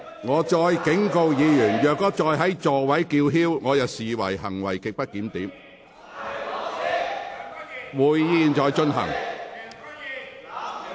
我再次警告，若議員仍在座位上叫喊，我會視之為行為極不檢點。